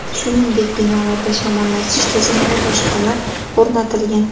Shuningdek binolarda shamollatish tizimi va boshqalar o‘rnatilgan.